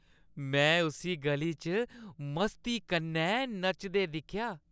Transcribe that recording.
में उस्सी ग'ली च मस्ती कन्नै नचदे दिक्खेआ।